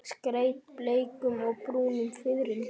Skreytt bleikum og brúnum fiðrildum.